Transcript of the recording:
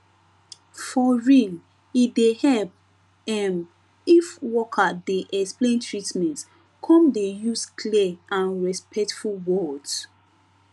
for real e dey help ehm if worker dey explain treatment come dey use clear and respectful words